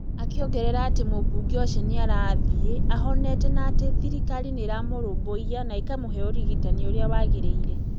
Akĩongerera atĩ mũmbunge ũcio nĩ arathiĩ ahonete na atĩ thirikari nĩ ĩramũrũmbũiya na ĩkamũhe ũrigitani ũrĩa wagĩrĩire.